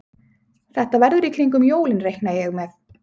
Þetta verður í kringum jólin reikna ég með.